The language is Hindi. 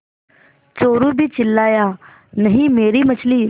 चोरु भी चिल्लाया नहींमेरी मछली